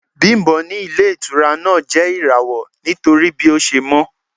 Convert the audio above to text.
Bimbo ní ilé-ìtura náà jẹ́ irawo nítorí bí ó ṣe mọ́.